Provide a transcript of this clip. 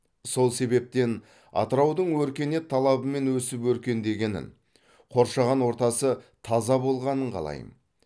сол себептен атыраудың өркениет талабымен өсіп өркендегенін қоршаған ортасы таза болғанын қалайм